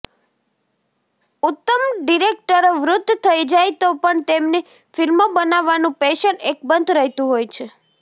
ઉત્તમ ડિરેક્ટરો વૃદ્ધ થઈ જાય તો પણ તેમની ફ્લ્મિો બનાવવાનું પેશન અકબંધ રહેતું હોય છે